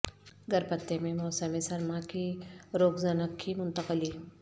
گر پتے میں موسم سرما کی روگزنق کی منتقلی